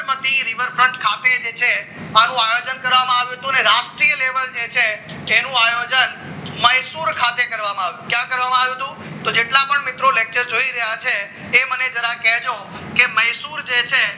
Sabarmati rivers ખાતે જે છે આનું આયોજન કરવામાં આવ્યું હતું અને રાષ્ટ્રીય લેવલ જે છે તેનું આયોજન મૈસુર ખાતે કરવામાં આવ્યું હતું ક્યા કરવામાં આવ્યું હતું જો જેટલા પણ મિત્રો lecture જોઈ રહ્યા છે તે મને જરા કહેજો જે મહેસુલ જે છે